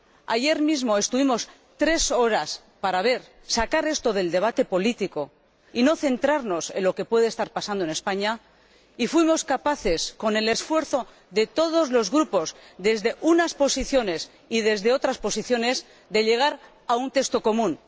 Ayer mismo estuvimos tres horas para ver cómo sacar esto del debate político y no centrarnos en lo que puede estar pasando en España, y fuimos capaces, con el esfuerzo de todos los grupos, desde unas posiciones y desde otras posiciones, de llegar a un texto común.